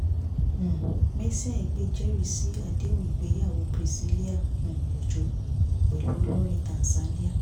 um mercy aigbe jẹ́rìí sí àdéhùn ìgbéyàwó priscilla um ọjọ́ pẹ̀lú olórin tanzania